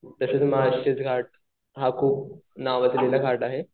त्याच्यात घाट हा खूप नावाजलेला घाट आहे.